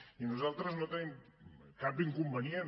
i nosaltres no tenim cap inconvenient